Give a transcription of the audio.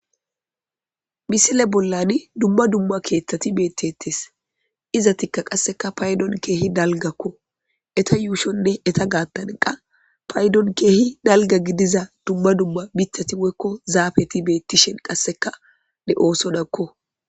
Misile bollan dumma dumma keettteti beettetes. Izetikka qasse paydon keehi dalggakko. Eta yuushon woy eta gaattan qa paydon keehi dalgga gidiza miththati woykko zaafet beèttishin qassekka de'osonakko.